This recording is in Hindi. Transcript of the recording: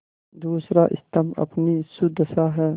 दूसरा स्तम्भ अपनी सुदशा है